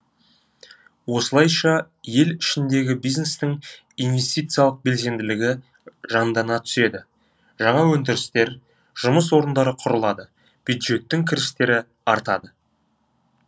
осылайша ел ішіндегі бизнестің инвестициялық белсенділігі жандана түседі жаңа өндірістер жұмыс орындары құрылады бюджеттің кірістері артады